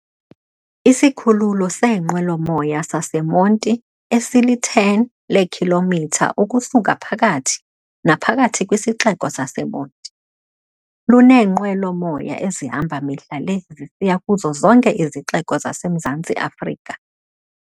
Isikhululo seenqwelo-moya saseMonti, esili-10 leekhilomitha ukusuka phakathi naphakathi kwisixeko saseMonti, luneenqwelo-moya ezihamba mihla le zisiya kuzo zonke izixeko zaseMzantsi Afrika.